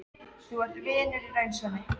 Þú ert vinur í raun, Svenni.